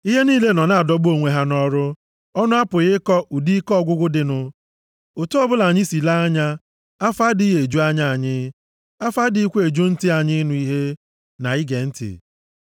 Ihe niile nọ na-adọgbu onwe ha nʼọrụ; ọnụ apụghị ịkọ ụdị ike ọgwụgwụ dịnụ. Otu ọbụla anyị si lee anya, afọ adịghị eju anya anyị. Afọ adịghịkwa eju ntị anyị ịnụ ihe, na ige ntị.